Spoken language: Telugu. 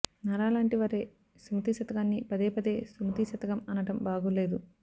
నారా లాంటి వారే సుమతి శతకాన్ని పదేపదే సుమతీ శతకం అనటం బాగులేదు